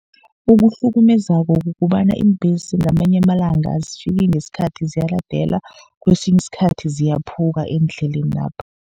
Okuhlukumezako kukobana, iimbhesi ngamanye amalanga azifiki ngesikhathi ziyaladelwa. Kesinye isikhathi ziyaphuka endlelenapha.